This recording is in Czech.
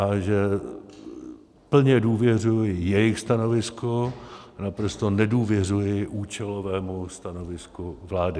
A že plně důvěřuji jejich stanovisku a naprosto nedůvěřuji účelovému stanovisku vlády.